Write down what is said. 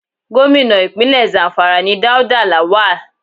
Gómìnà Ìpínlẹ̀ Zamfara ni Dauda Lawal.